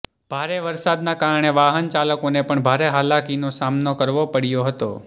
ભારે વરસાદના કારણે વાહન ચાલકોને પણ ભારે હાલાકીનો સામનો કરવો પડ્યો હતો